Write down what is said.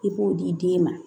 I b'o di den ma